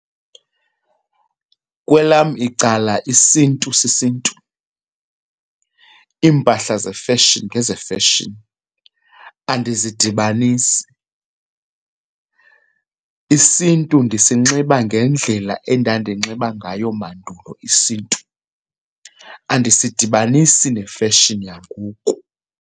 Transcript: Kwelam icala isiNtu sisiNtu, iimpahla zefeshini ngezefeshini andizidibanisi. IsiNtu ndisinxiba ngendlela endandinxiba ngayo mandulo isiNtu, andisidibanisi nefeshini yangoku.